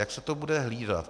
Jak se to bude hlídat?